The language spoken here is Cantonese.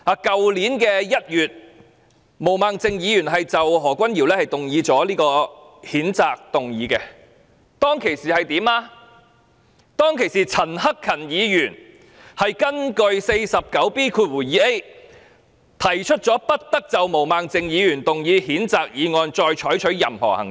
去年1月，毛孟靜議員就何君堯議員動議譴責議案，當時陳克勤議員根據《議事規則》第 49B 條，提出不得就毛孟靜議員動議的譴責議案再採取任何行動。